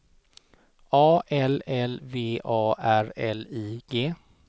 A L L V A R L I G